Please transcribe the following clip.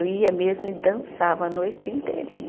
Eu ia mesmo e dançava a noite inteirinha.